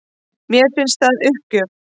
Mér finnst það uppgjöf